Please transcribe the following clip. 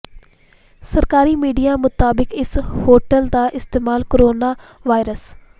ਸਰਕਾਰੀ ਮੀਡੀਆ ਮੁਤਾਬਿਕ ਇਸ ਹੋਟਲ ਦਾ ਇਸਤੇਮਾਲ ਕੋਰੋਨਾ ਵਾਇਰਸ